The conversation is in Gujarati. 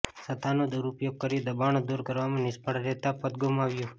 સત્તાનો દૂર ઉપયોગ કરી દબાણો દૂર કરવામાં નિષ્ફળ રહેતાં પદ ગૂમાવ્યું